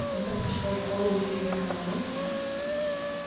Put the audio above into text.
это пришло в голову тебе самому